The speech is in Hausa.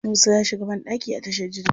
Musa ya shiga banɗaki a tashar jirgi.